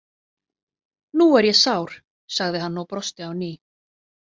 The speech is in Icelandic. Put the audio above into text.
Nú er ég sár, sagði hann og brosti á ný.